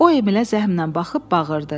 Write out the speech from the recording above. O Emilə zəhmlə baxıb bağırdı.